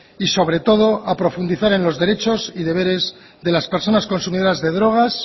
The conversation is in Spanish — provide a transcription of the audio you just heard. y sobre todo a profundizar en los derechos y deberes de las personas consumidoras de drogas